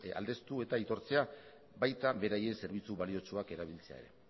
aldeztu eta aitortzea baita beraien zerbitzu baliotsuak erabiltzea ere